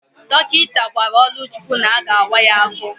Dọkịta gwara Oluchukwu na-aga awa ya afọ.